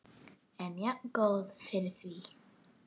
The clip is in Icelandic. En jafngóð fyrir því!